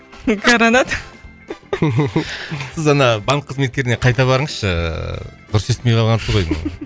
гаранат сіз ана банк кызметкеріне қайта барыңызшы ыыы дұрыс естимей қалғансыз ғой деймін